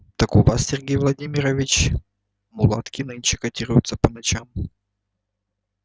так у вас сергей владимирович мулатки нынче котируются по ночам